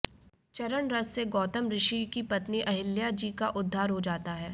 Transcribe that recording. चरण रज से गौतम ऋषि की पत्नी अहिल्या जी का उद्धार हो जाता है